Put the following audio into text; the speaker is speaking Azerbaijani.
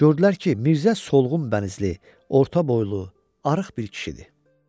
Gördülər ki, Mirzə solğun bənizli, orta boylu, arıq bir kişidir.